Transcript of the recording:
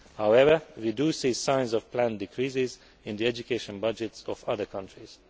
However, we do see signs of planned decreases in the education budgets of other countries.